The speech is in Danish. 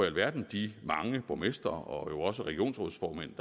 alverden de mange borgmestre og også regionsrådsformænd